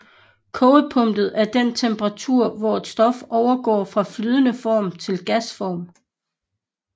Kogepunktet er den temperatur hvor et stof overgår fra flydende form til gasform